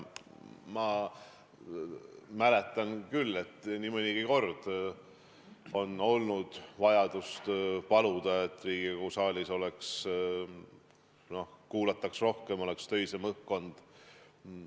Ma mäletan küll, et nii mõnigi kord oli vaja paluda, et Riigikogu saalis kuulataks rohkem, oleks töisem õhkkond.